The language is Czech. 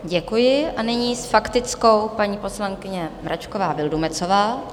Děkuji a nyní s faktickou paní poslankyně Mračková Vildumetzová.